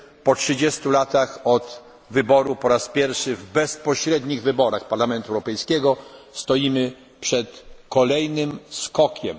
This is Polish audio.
w to wierzymy. Po trzydziestu latach od pierwszych bezpośrednich wyborów do Parlamentu Europejskiego stoimy przed kolejnym